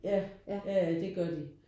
Ja ja ja det gør det